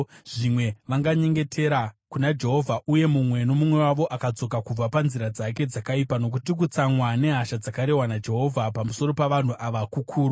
Zvimwe vanganyengetera kuna Jehovha uye mumwe nomumwe wavo akadzoka kubva panzira dzake dzakaipa, nokuti kutsamwa nehasha dzakarehwa naJehovha pamusoro pavanhu ava kukuru.”